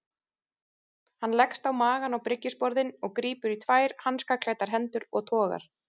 Hann leggst á magann á bryggjusporðinn og grípur í tvær hanskaklæddar hendur og togar.